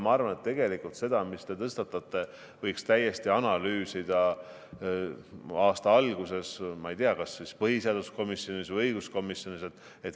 Ma arvan, et seda, mis te tõstatasite, võiks täiesti analüüsida aasta alguses, ma ei tea, kas siis põhiseaduskomisjonis või õiguskomisjonis.